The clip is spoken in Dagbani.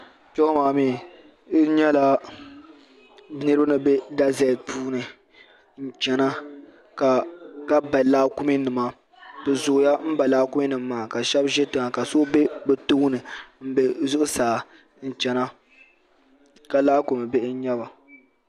kpɛ ŋo maa mii n nyɛla nirraba ni bɛ gazɛt puuni n chɛna ka ba laakumi nima bi zooya n ba laakumi nim maa ka shab ʒi tiŋa ka so bɛ bi tooni n bɛ zuɣusaa n chɛna ka laakumi bihi n nyɛba